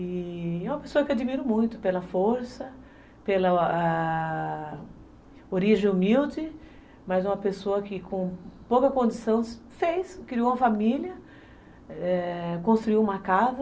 E é uma pessoa que eu admiro muito pela força, pela a... origem humilde, mas uma pessoa que com pouca condição fez, criou uma família, é... construiu uma casa.